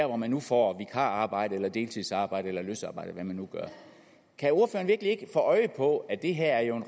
hvor man nu får vikararbejde eller deltidsarbejde eller løsarbejde eller hvad man nu gør kan ordføreren virkelig ikke få øje på at det her jo